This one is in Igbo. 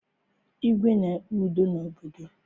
Igwe na-ekpe udo n'obodo